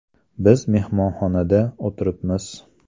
Biz mehmonxonada o‘tiribmiz.